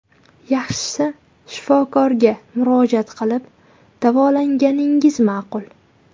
Yaxshisi, shifokorga murojaat qilib, davolanganingiz ma’qul.